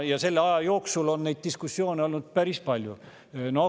Ja selle aja jooksul on neid diskussioone olnud päris palju.